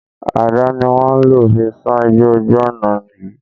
Àdà ni wọ́n lò fi sán igbó ojú ọ̀nà yìí